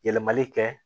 Yɛlɛmali kɛ